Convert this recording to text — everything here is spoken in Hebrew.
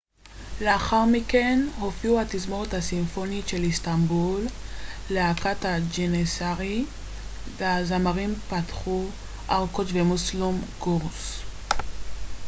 לאחר מכן הופיעו התזמורת הסימפונית של איסטנבול להקת ג'ניסארי והזמרים פאתיח ארקוץ' ומוסלום גורסס